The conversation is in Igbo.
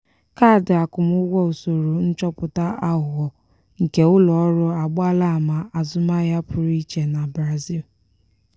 kaadị akwụmụgwọ usoro nchọpụta aghụghọ nke ụlọ ọrụ agbaala ama azụmahịa pụrụ iche na brazil.